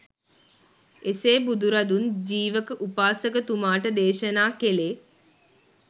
එසේ බුදුරදුන් ජීවක උපාසකතුමාට දේශනා කෙළේ